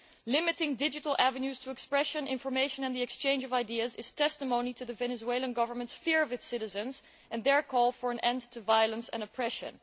Limiting digital avenues to expression, information and the exchange of ideas is testimony to the Venezuelan government's fear of its citizens and their call for an end to violence and oppression.